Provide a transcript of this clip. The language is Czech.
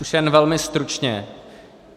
Už jen velmi stručně.